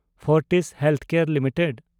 Fortis healthcare limited